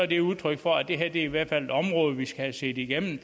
de er udtryk for at det her i hvert fald er et område vi skal have set igennem